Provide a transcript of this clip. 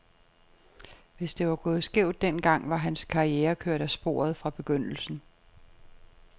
Hvis det var gået skævt den gang, var hans karriere kørt af sporet fra begyndelsen.